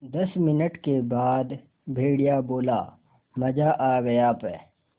दस मिनट के बाद भेड़िया बोला मज़ा आ गया प्